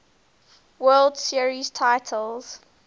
world series titles